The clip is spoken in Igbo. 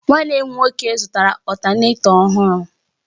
Nwanne m nwoke zụtara Ọtánètọ ọhụrụ